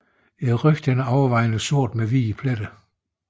Ryggen er overvejende sort med hvide pletter